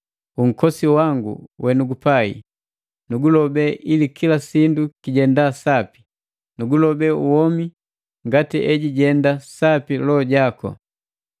Unkosi wangu wenugupai, nugulobe ili kila sindu kijenda sapi; nugulobe womi ngati ejijenda sapi loho jaku.